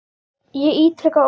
Ég ítreka ósk okkar.